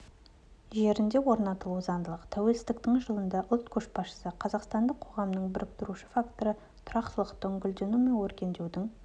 жерінде орнатылуы заңдылық тәуелсіздіктің жылында ұлт көшбасшысы қазақстандық қоғамның біріктіруші факторы тұрақтылықтың гүлдену мен өркендеудің